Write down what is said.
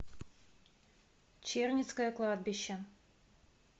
черницкое кладбище